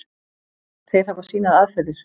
Þeir hafa sínar aðferðir.